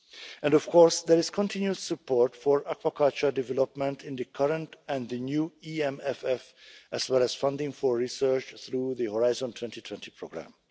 And of course, there is continued support for aquaculture development in the current and the new EMFF, as well as funding for research through the Horizon 2020 programme.